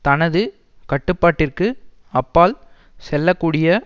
தனது கட்டுப்பாட்டிற்கு அப்பால் செல்ல கூடிய